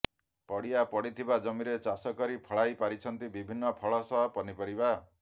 ପଡ଼ିଆ ପଡିଥିବା ଜମିରେ ଚାଷ କରି ଫଳାଇ ପାରିଛନ୍ତି ବିଭିନ୍ନ ଫଳ ସହ ପନିପରିବା